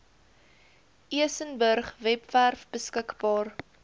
elsenburg webwerf beskikbaar